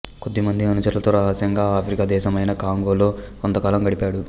కొద్దిమంది అనుచరులతో రహస్యంగా ఆఫ్రికా దేశమైన కాంగోలో కొంతకాలం గడిపాడు